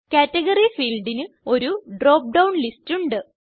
category ഫീൽഡിന് ഒരു drop down list ഉണ്ട്